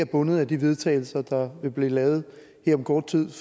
bundet af de vedtagelser der vil blive lavet her om kort tid